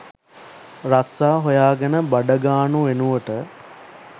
රස්සා හොයාගෙන බඩගානු වෙනුවට